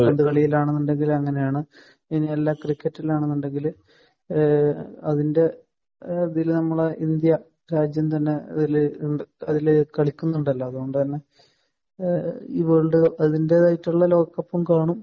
കാൽപ്പന്ത് കളിയിലാണെന്നുണ്ടെങ്കിൽ അങ്ങനെയാണ്. ഇനി അല്ല ക്രിക്കറ്റിൽ ആണെന്നുണ്ടെങ്കിൽ ഏഹ് അതിന്റെ ഏഹ് ഇതിൽ നമ്മുടെ ഇന്ത്യ രാജ്യം തന്നെ അതിൽ ഉണ്ട് അതിൽ കളിക്കുന്നുണ്ടല്ലോ. അതുകൊണ്ട് തന്നെ ഏഹ് വേൾഡ് അതിന്റേതായിട്ടുള്ള ലോകകപ്പും കാണും.